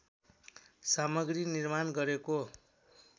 सामग्री निर्माण गरेको